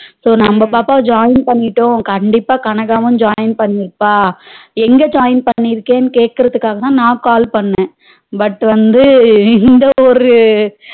So நம்ம பாப்பா join பண்ணிட்டோம் கண்டிப்பா கனகாவும் join பண்ணிருப்பா எங்க join பண்ணிருக்கனு கேகுறதுக்காகதா நா call பண்ண but வந்து இந்தவொரு